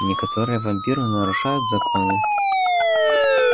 некоторые вампиры нарушают законы